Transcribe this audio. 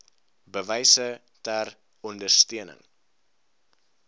bewyse ter ondersteuning